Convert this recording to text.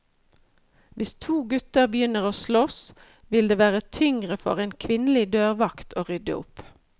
Hvis to gutter begynner å slåss, vil det være tyngre for en kvinnelig dørvakt å rydde opp.